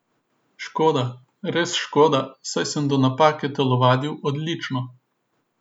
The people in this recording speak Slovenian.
Škoda, res škoda, saj sem do napake telovadil odlično.